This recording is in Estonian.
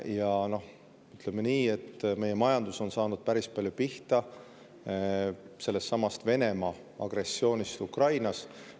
Ja ütleme nii, et meie majandus on saanud päris palju pihta sellestsamast Venemaa agressioonist Ukrainas.